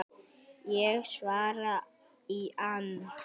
Ég svara í ann